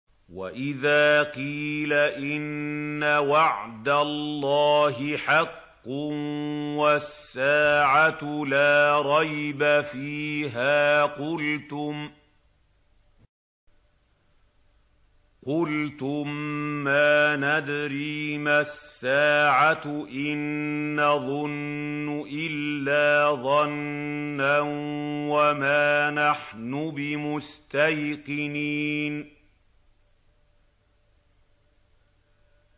وَإِذَا قِيلَ إِنَّ وَعْدَ اللَّهِ حَقٌّ وَالسَّاعَةُ لَا رَيْبَ فِيهَا قُلْتُم مَّا نَدْرِي مَا السَّاعَةُ إِن نَّظُنُّ إِلَّا ظَنًّا وَمَا نَحْنُ بِمُسْتَيْقِنِينَ